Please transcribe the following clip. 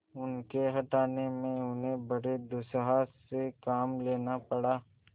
उनके हटाने में उन्हें बड़े दुस्साहस से काम लेना पड़ा